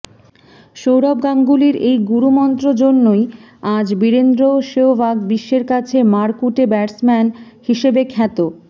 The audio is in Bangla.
সৌরভ গাঙ্গুলীর এই গুরু মন্ত্র জন্যই আজ বীরেন্দ্র শেহবাগ বিশ্বের কাছে মারকুটে ব্যাটসম্যান হিসেবে খ্যাত